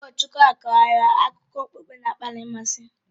Ụkọchukwu ahụ kọọrọ anyị akụkọ okpukpe na-akpali mmasị